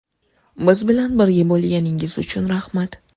Biz bilan birga bo‘lganingiz uchun rahmat!